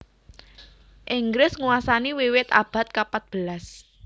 Inggris nguasani wiwit abad kapatbelas